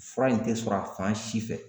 Fura in te sɔrɔ a fan si fɛ.